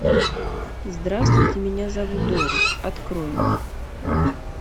здравствуйте меня зовут дорис открой